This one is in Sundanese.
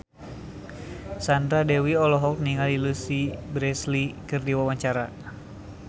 Sandra Dewi olohok ningali Louise Brealey keur diwawancara